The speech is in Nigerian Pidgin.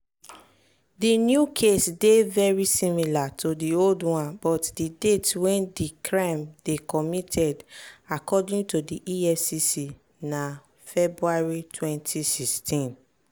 d new case dey very similar to di old one but di date wey di crime dey committed according to di efcc na february twnety sixteen.